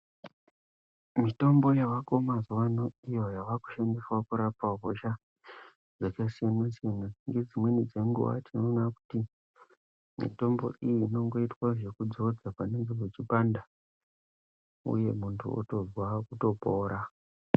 Mitombo iyo yavako mazuva ano iyoinoshandiswa kurapa hosha dzakasiyana siyana. Nedzimweni dzenguva tinoona kuti mitombo iyi inongota zvekudzodzwa panenge pachipanda, uye muntu votozwa kutopora.